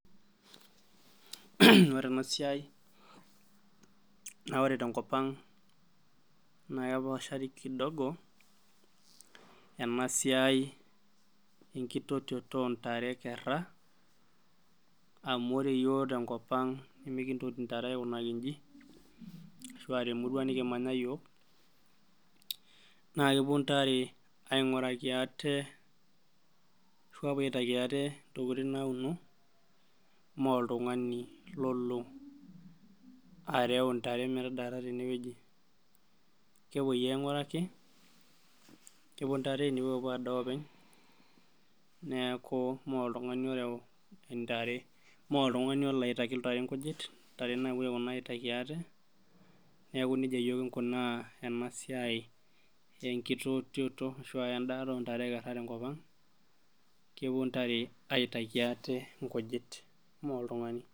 Ore enasiai, naa ore tenkop ang', naa kepaashari kidogo, enasiai enkitotioto ontare ekerra, amu ore yiok tenkop ang' nimikintoti ntare aikunaki inji, ashua temurua nikimanya yiok. Na kepuo ntare aing'uraki aate ashu apuo aitaki ate intokiting nauno, moltung'ani lolo areu intare metadaata tenewueji. Kepoi aing'uraki, nepuo ntare nepuo apuo adaa openy, neeku moltung'ani oreu intare, moltung'ani olo aitaki nkujit, ntare napuo aponu aitaki ate, neeku nejia yiok kinkunaa enasiai tenkitotioto ashu endaata ontare ekerra tenkop ang',kepuo ntare aitaki ate inkujit, moltung'ani.